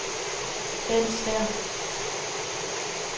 Bendt Stæhr